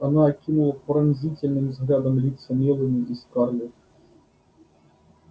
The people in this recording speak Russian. она окинула пронзительным взглядом лица мелани и скарлетт